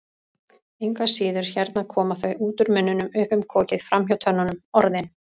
Engu að síður, hérna koma þau, út úr munninum, upp um kokið, framhjá tönnunum, Orðin.